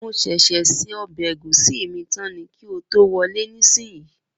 Mo ṣẹ̀ ṣẹ̀ se ọbẹ̀ egúsí mí tán ni kí o tó wọlé nísìyí.